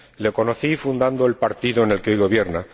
Le conocí fundando el Partido con el que hoy gobierna.